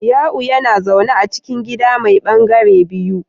Ya'u yana zaune a cikin gida mai ɓangare biyu